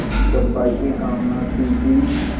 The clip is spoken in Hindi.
चंपा की कामना थी कि